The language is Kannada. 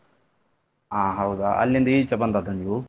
ಹಾ ಹೌದಾ ಅಲ್ಲಿಂದ ಈಚೆ ಬಂದಿದ್ದ ನೀವು?